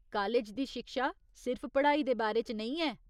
College दी शिक्षा सिर्फ पढ़ाई दे बारे च नेईं ऐ।